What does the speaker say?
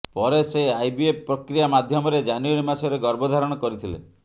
ପରେ ସେ ଆଇବିଏଫ ପ୍ରକ୍ରିୟା ମାଧ୍ୟମରେ ଜାନୁଆରି ମାସରେ ଗର୍ଭଧାରଣ କରିଥିଲେ